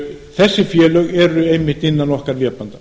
þessi félög eru einmitt innan okkar vébanda